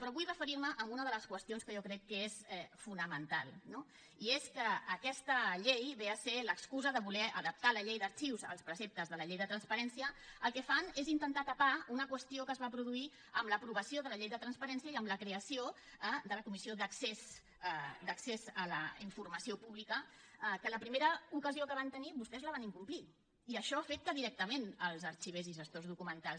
però vull referir me a una de les qüestions que jo crec que és fonamental no i és que aquesta llei ve a ser l’excusa de voler adaptar la llei d’arxius als preceptes de la llei de transparència i el que fan és intentar tapar una qüestió que es va produir amb l’aprovació de la llei de transparència i amb la creació de la comissió d’accés a la informació pública que a la primera ocasió que van tenir vostès la van incomplir i això afecta directament els arxivers i gestors documentals